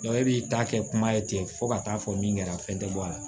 e b'i ta kɛ kuma ye ten fɔ ka taa fɔ min kɛra fɛn tɛ bɔ a la